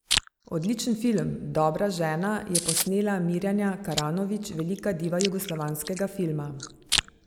Odličen film, Dobra žena, je posnela Mirjana Karanović, velika diva jugoslovanskega filma.